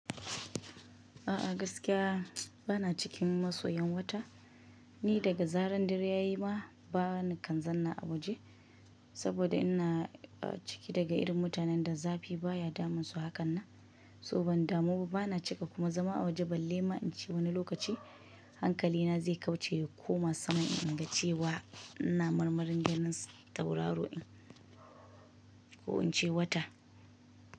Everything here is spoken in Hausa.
A'a gaskiya bana cikin masoyan wata, ni daga zaran dare ya yi ma ba ni kan zanna a waje saboda ina ciki daga irin mutanen da zafi baya damunsu hakan nan, so ban damu ba bana cika kuma zama a waje balle ma in ce wani lokaci. Hankali na zai kauce ya koma saman in ga cewa. Ina marmarin ganin sa tauraro ɗin ko in ce wata.